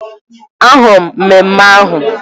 Ahụrụ m ememme ahụ